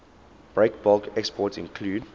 breakbulk exports include